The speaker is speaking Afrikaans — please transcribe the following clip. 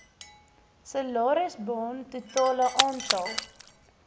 salarisbaan totale aantal